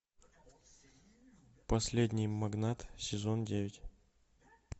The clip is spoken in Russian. последний магнат сезон девять